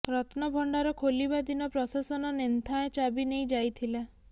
ରତ୍ନଭଣ୍ଡାର ଖୋଲିବା ଦିନ ପ୍ରଶାସନ ନେନ୍ଥାଏ ଚାବି ନେଇ ଯାଇଥିଲା